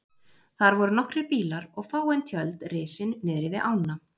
Þar voru nokkrir bílar og fáein tjöld risin niðri við ána.